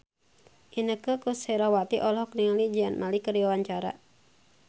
Inneke Koesherawati olohok ningali Zayn Malik keur diwawancara